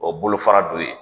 O bolofara dɔ ye